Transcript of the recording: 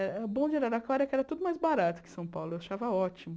O bom de Araraquara é que era tudo mais barato que São Paulo, eu achava ótimo.